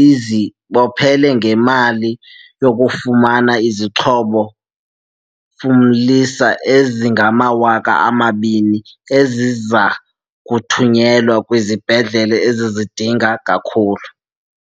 izibophele ngemali yokufumana izixhobo fumlisa ezi ngama-200, eziza kuthunyelwa kwizibhedlele ezizidinga kakhulu.